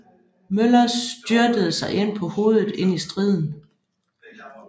Møller styrtede sig på hovedet ind i striden